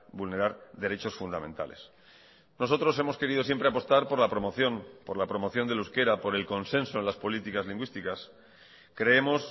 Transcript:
vulnerar derechos fundamentales nosotros hemos querido siempre apostar por la promoción por la promoción del euskera por el consenso en las políticas lingüísticas creemos